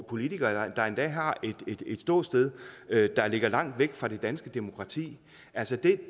politikere der endda har et ståsted der ligger langt væk fra det danske demokrati altså